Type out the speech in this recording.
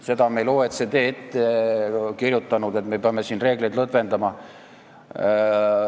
Seda on meile OECD ette kirjutanud, et me peame siin reegleid lõdvendama.